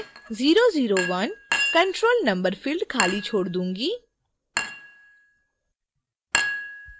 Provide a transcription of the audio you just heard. मैं 001 control number field खाली छोड दूंगी